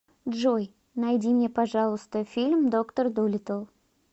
джой найди мне пожалуйста фильм доктор дулиттл